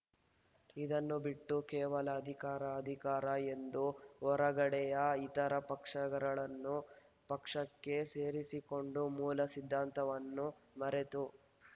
ಇದನ್ನು ಬಿಟ್ಟು ಕೇವಲ ಅಧಿಕಾರ ಅಧಿಕಾರ ಎಂದು ಹೊರಗಡೆಯ ಇತರ ಪಕ್ಷಗ್ರಗಳವರನ್ನು ಪಕ್ಷಕ್ಕೆ ಸೇರಿಸಿಕೊಂಡು ಮೂಲ ಸಿದ್ಧಾಂತವನ್ನು ಮರೆತು